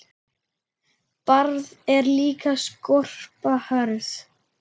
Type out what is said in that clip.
Barð er líka skorpa hörð.